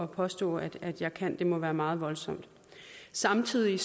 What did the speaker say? påstå at jeg kan for det må være meget voldsomt samtidig